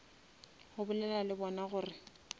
go bolela le bona gore